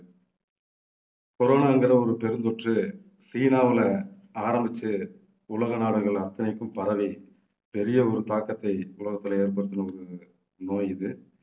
corona ங்கிற ஒரு பெருந்தொற்று சீனாவுல ஆரம்பிச்சு உலக நாடுகள் அத்தனைக்கும் பரவி பெரிய ஒரு தாக்கத்தை உலகத்திலே ஏற்படுத்தின ஒரு நோய் இது